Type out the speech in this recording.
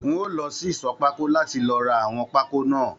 N o lọ sí ìṣọ̀ pákó láti lọ rà àwọn pákó náà.